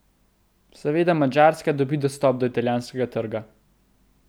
Seveda, Madžarska dobi dostop do italijanskega trga.